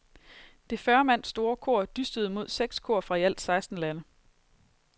Det fyrre mand store kor dystede mod seks to kor fra i alt seksten lande.